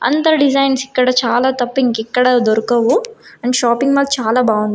అందరూ డిజైన్స్ ఇక్కడ చాలా తప్ప ఇంకెక్కడ దొరకవు అండ్ షాపింగ్ మాల్ చాలా బావుంది.